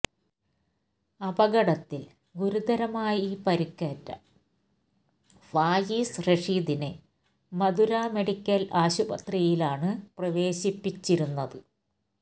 അപകടത്തിൽ ഗുരുതരമായി പരിക്കേറ്റ ഫായിസ് റഷീദിനെ മധുര മെഡിക്കൽ ആശുപത്രിയിലാണ് പ്രവേശിപ്പിച്ചിരുന്നത്